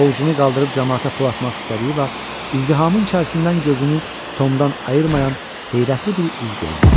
Ovucunu qaldırıb camaata pul atmaq istədiyi vaxt izdihamın içərisindən gözünü Tomdan ayırmayan heyrətli bir üz gördü.